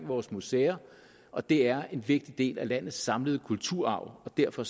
vores museer og det er en vigtig del af landets samlede kulturarv og derfor